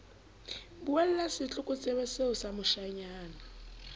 buella setlokotsebe see sa moshanyana